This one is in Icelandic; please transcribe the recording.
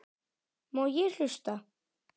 Má ég hlusta?